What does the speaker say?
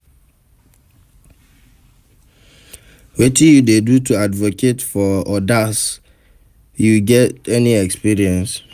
Wetin you dey do to advocate for odas, you get any experience?